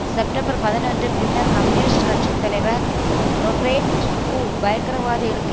September பதினொன்று பின்னர் communist கட்சி தலைவர் றோபேட் ஹு பயங்கரவாதிகளுக்கு